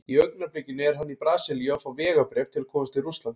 Í augnablikinu er hann í Brasilíu að fá vegabréf til að komast til Rússlands.